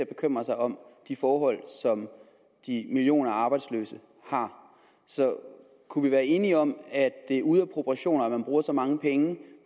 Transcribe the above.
bekymrer sig om de forhold som de millioner af arbejdsløse har så kunne vi være enige om at det er ude af proportioner at man bruger så mange penge